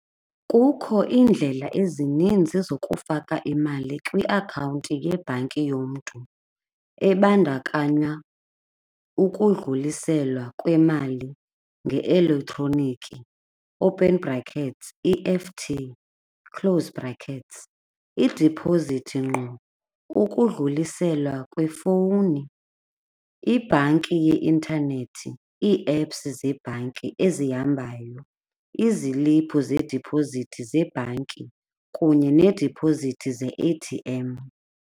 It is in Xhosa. Kukho iindlela ezininzi zokufaka imali kwiakhawunti yebhanki yomntu ebandakanya ukudluliselwa kwemali nge-elektroniki, open brackets E_F_T close brackets. Idipozithi ngqo, ukudluliselwa kwefowuni, ibhanki yeintanethi, ii-apps zebhanki ezihambayo, iziliphu zediphozithi zebhanki kunye needipozithi ze-A_T_M.